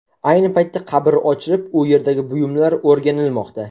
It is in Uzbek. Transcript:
Ayni paytda qabr ochilib, u yerdagi buyumlar o‘rganilmoqda.